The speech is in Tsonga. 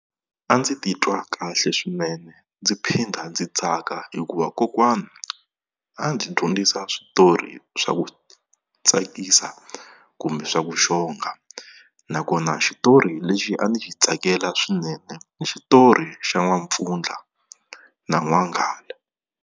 A ndzi titwa kahle swinene ndzi phinda ndzi tsaka hikuva kokwana a ndzi dyondzisa switori swa ku tsakisa kumbe swa ku xonga, nakona xitori lexi a ndzi xi tsakela swinene ni xitori xa N'wampfundla na N'wanghala.